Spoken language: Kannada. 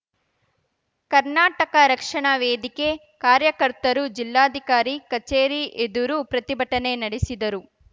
ಕರ್ನಾಟಕ ರಕ್ಷಣಾ ವೇದಿಕೆ ಕಾರ್ಯಕರ್ತರು ಜಿಲ್ಲಾಧಿಕಾರಿ ಕಚೇರಿ ಎದುರು ಪ್ರತಿಭಟನೆ ನಡೆಸಿದರು